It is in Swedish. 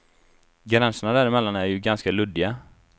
Gränserna däremellan är ju ganska luddiga.